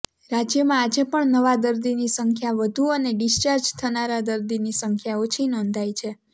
રાજ્યમાં આજે પણ નવા દર્દીની સંખ્યા વધુ અને ડિસ્ચાર્જ થનારા દર્દીની સંખ્યા ઓછી નોંધાઇ છે